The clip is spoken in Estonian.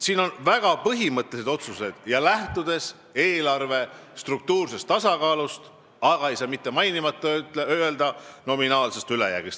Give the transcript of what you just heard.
Seal on tehtud väga põhimõttelised otsused, mis lähtuvad eelarve struktuursest tasakaalust, aga – ei saa mitte mainimata jätta – nominaalsest ülejäägist.